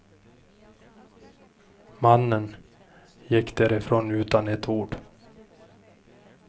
Mannen gick därifrån utan ett ord.